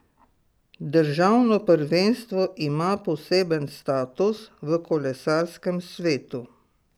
Državno prvenstvo ima poseben status v kolesarskem svetu.